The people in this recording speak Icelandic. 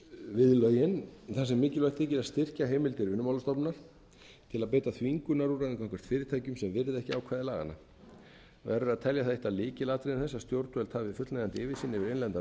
við lögin þar sem mikilvægt þykir að styrkja heimild til vinnumálastofnunar til að beita þvingunarúrræðum gagnvart fyrirtækjum sem virða ekki ákvæði laganna verður að telja það eitt af lykilatriðum þess að stjórnvöld hafi yfirsýn yfir innlendan